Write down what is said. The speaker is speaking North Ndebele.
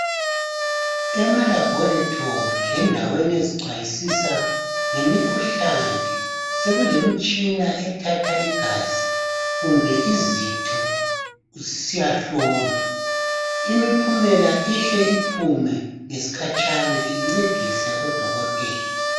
Ema laboratory lendawo ezichwayisisa ngemikhuhlane sekulemitshina ethatha igazi kumbe izitho zisiyahlolwa imiphumela ihle iphume ngesikhatshana incedise odokotela.